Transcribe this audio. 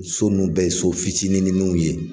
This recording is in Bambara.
o so nun bɛɛ ye so fitininininw ye.